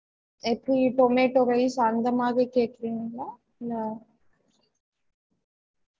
variety இல்ல mam ஒரு veg biryani அந்த மாதிரி veg பிரியாணி அந்த மாதிரி